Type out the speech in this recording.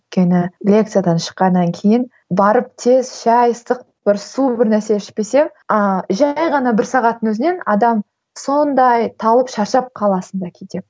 өйткені лекциядан шыққаннан кейін барып тез шай ыстық бір су бірнәрсе ішпесең а жай ғана бір сағаттың өзінен адам сондай талып шаршап каласың да кейде